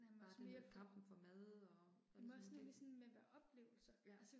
Bare det med kampen for mad og alt sådan nogle ting. Ja